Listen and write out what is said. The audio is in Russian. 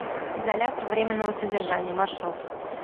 изолятор временного содержания маршрут